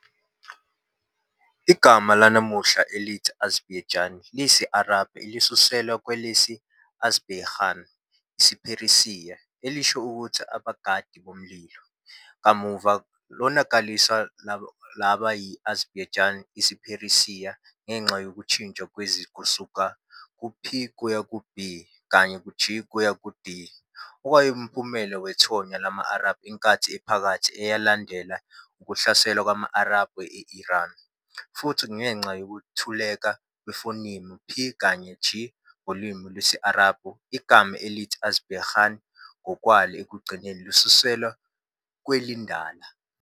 Igama lanamuhla elithi Azerbaijan liyisi-Arabhu elisuselwa kwelesi-Āzarpāyegān, isiPheresiya, elisho ukuthi 'abagadi bomlilo' kamuva lonakaliswa laba yi-Azerbaijan, isiPheresiya, ngenxa yokushintsha kwezwi kusuka ku p kuya ku b kanye g kuya ku d okuwumphumela wethonya lama-Arabhu enkathi ephakathi eyalandela ukuhlasela kwama-Arabhu e-Iran, futhi kungenxa yokuntuleka kwefonimu p kanye g ngolimi lwesi-Arabhu. Igama elithi Azarpāyegān ngokwalo ekugcineni lisuselwa kwelindala.